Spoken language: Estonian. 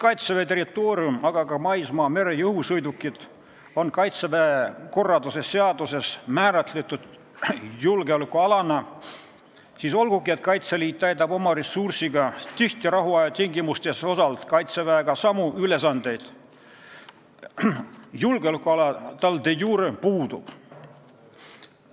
Kaitseväe territoorium, aga ka maismaa-, mere- ja õhusõidukid on Kaitseväe korralduse seaduses määratletud julgeolekualana, kuid olgugi et Kaitseliit täidab oma ressursiga rahuaja tingimustes tihti osalt Kaitseväega samu ülesandeid, julgeolekuala tal de iure puudub.